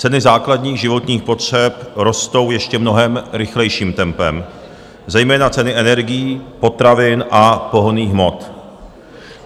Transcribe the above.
Ceny základních životních potřeb rostou ještě mnohem rychlejším tempem, zejména ceny energií, potravin a pohonných hmot.